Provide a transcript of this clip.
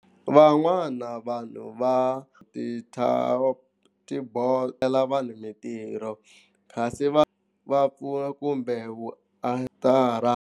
Van'wana vanhu va ti-chatbot vanhu mintirho kasi va va pfuna kumbe